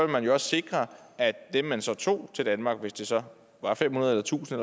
man jo også sikre at dem man så tog til danmark hvis det så var fem hundrede eller tusind